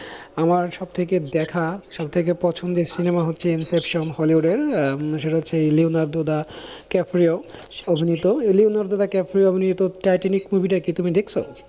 আমার সবথেকে দেখা সবথেকে পছন্দের সিনেমা হচ্ছে hollywood এর আহ সেটা হচ্ছে লিওনার্দো দ্য ক্যাফরিও অভিনীত লিওনার্দো দ্য ক্যাফরিও অভিনীত টাইটানিক movie টা কি তুমি দেখেছো?